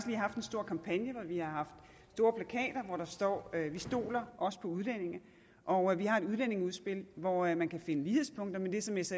haft en stor kampagne hvor vi har haft store plakater hvorpå der står vi stoler også på udlændinge og vi har et udlændingeudspil hvori man kan finde lighedspunkter med det som s